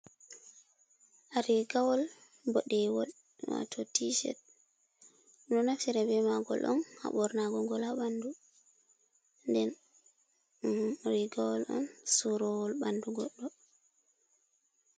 Rigawol boɗewol wato ti-shet. Ɓedo naftira be magol on ha ɓornago ngol ha ɓandu. Nden rigawol on surowol ɓandu goɗɗo.